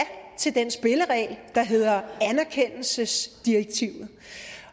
til den spilleregel der hedder anerkendelsesdirektivet